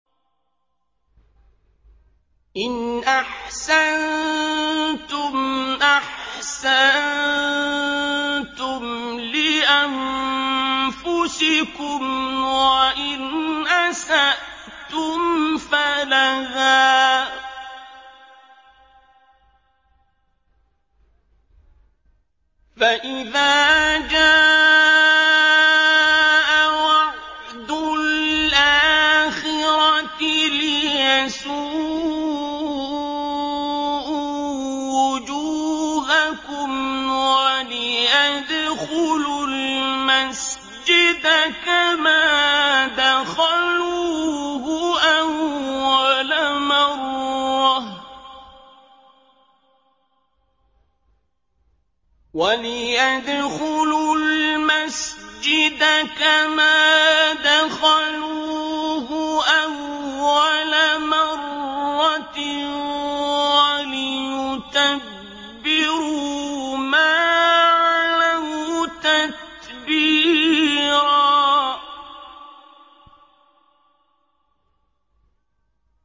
إِنْ أَحْسَنتُمْ أَحْسَنتُمْ لِأَنفُسِكُمْ ۖ وَإِنْ أَسَأْتُمْ فَلَهَا ۚ فَإِذَا جَاءَ وَعْدُ الْآخِرَةِ لِيَسُوءُوا وُجُوهَكُمْ وَلِيَدْخُلُوا الْمَسْجِدَ كَمَا دَخَلُوهُ أَوَّلَ مَرَّةٍ وَلِيُتَبِّرُوا مَا عَلَوْا تَتْبِيرًا